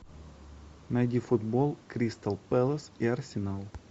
найди футбол кристал пэлас и арсенал